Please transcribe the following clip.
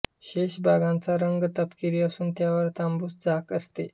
शेष भागाचा रंग तपकिरी असून त्यावर तांबूस झाक असते